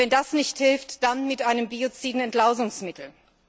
Wenn das nicht hilft, dann mit einem bioziden Entlausungsmittel.